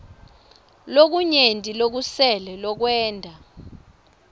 lokunyenti lokusele lokwenta